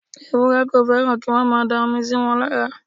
Ewúrẹ́ kò fẹ́ràn kí wọ́n máa da omi síwọn lára.